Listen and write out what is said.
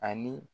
Ani